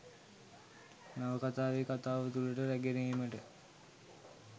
නවකතාවේ කතාව තුළට රැගෙන ඒමට